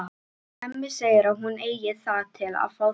Hemmi segir að hún eigi það til að fá þau.